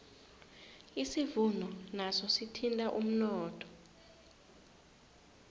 isivuno naso sithinta umnotho